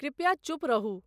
कृपया चुप रहूं